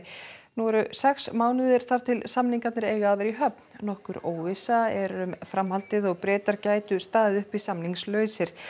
nú eru sex mánuðir þar til samningar eiga að vera í höfn nokkur óvissa er um framhaldið og Bretar gætu staðið uppi samningslausir